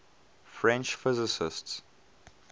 french physicists